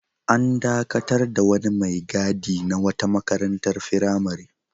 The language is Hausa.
An dakatar da wani mai gadi na wata makarantar firamare.